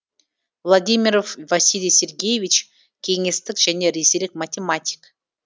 владимиров василий сергеевич кеңестік және ресейлік математик